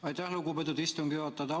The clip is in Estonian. Aitäh, lugupeetud istungi juhataja!